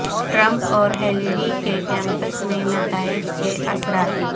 Trump اور Hillary کے camps میں نتائج کے اثرات